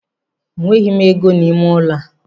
Enweghị m ego n'ime ụlọ a.